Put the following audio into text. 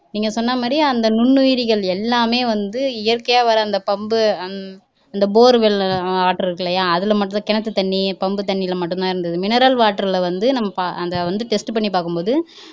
நீங்க சொன்ன மாதிரி அந்த நுண்ணுயிரிகள் எல்லாமே வந்து இயற்கையா வளர்ந்த பம்பு அந்த borewell இருக்கு இல்லையா அதுல மட்டுந்தான் கிணத்து தண்ணி பம்புதண்ணில மட்டுந்தான் இருந்தது mineral water ல வந்து அந்த வந்து test பண்ணி பாக்கும்போது